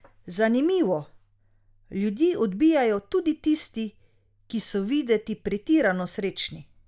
Zanimivo, ljudi odbijajo tudi tisti, ki so videti pretirano srečni.